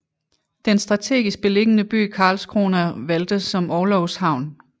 Den strategisk beliggende by Karlskrona valgtes som orlogshavn